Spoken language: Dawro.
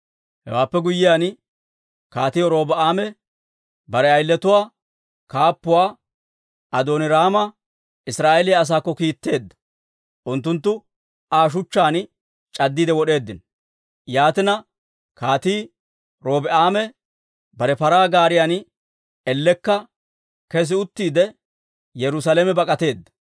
Hewaappe guyyiyaan, Kaatii Robi'aame bare ayiletuwaa kaappuwaa Adooniraama Israa'eeliyaa asaakko kiitteedda; unttunttu Aa shuchchaan c'addiide wod'eeddino. Yaatina, Kaatii Robi'aame bare paraa gaariyan ellekka kes uttiide, Yerusaalame bak'ateedda.